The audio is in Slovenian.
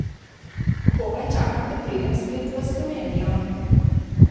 Komaj čakam, da pridem spet v Slovenijo.